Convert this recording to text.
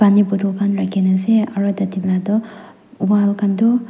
pani bottle khan rakhe na ase aro tate tina to wall khan to.